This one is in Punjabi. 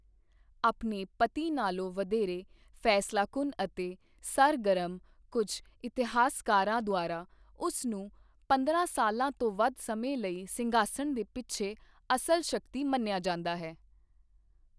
ਆਪਣੇ ਪਤੀ ਨਾਲੋਂ ਵਧੇਰੇ ਫੈਸਲਾਕੁੰਨ ਅਤੇ ਸਰਗਰਮ, ਕੁੱਝ ਇਤਿਹਾਸਕਾਰਾਂ ਦੁਆਰਾ ਉਸ ਨੂੰ ਪੰਦਰਾਂ ਸਾਲਾਂ ਤੋਂ ਵੱਧ ਸਮੇਂ ਲਈ ਸਿੰਘਾਸਣ ਦੇ ਪਿੱਛੇ ਅਸਲ ਸ਼ਕਤੀ ਮੰਨਿਆ ਜਾਂਦਾ ਹੈ।